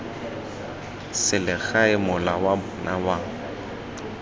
selegae mola wa bona wa